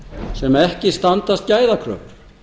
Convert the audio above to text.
sem ekki standast gæðakröfur